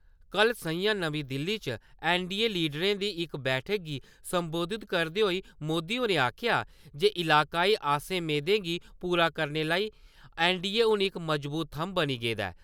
कल स'ञां नमीं दिल्ली च ऐन्नडीए लीडरें दी इक बैठक गी संबोधत करदे होई मोदी होरें आखेआ जे इलाकाई आसें मेदें गी पूरा करने लेई ऐन्नडीए हून इक मजबूत थम्म बनी गेदा ऐ।